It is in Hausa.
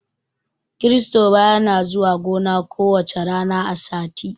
Kiristoba yana zuwa gona ku wacca rana a sati